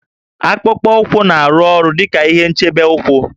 Akpụkpọ ụkwụ na-arụ ọrụ dị ka ihe nchebe ụkwụ